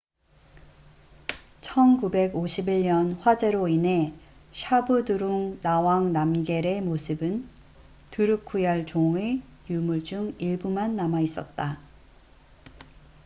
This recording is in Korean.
1951년 화재로 인해 샤브드룽 나왕 남겔zhabdrung ngawang namgyal의 모습은 드루크얄 종drukgyal dzon의 유물 중 일부만 남아 있었다